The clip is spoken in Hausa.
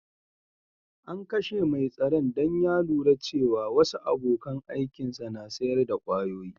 An kashe mai tsaron dan ya lura cewa wasu abokan aikin sa na sayar da kwayoyi.